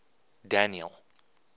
daniel